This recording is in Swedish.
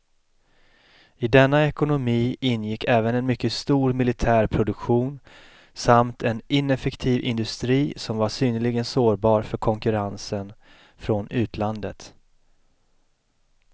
I denna ekonomi ingick även en mycket stor militär produktion samt en ineffektiv industri som var synnerligen sårbar för konkurrensen från utlandet.